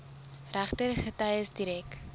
regter getuies direk